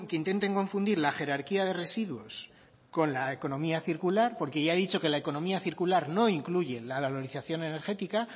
intenten confundir la jerarquía de residuos con la economía circular porque ya he dicho que la economía circular no incluye la valorización energética